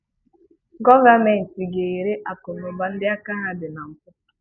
Gọọmentị ga-ere akụnaụba ndị aka ha dị na mpụ.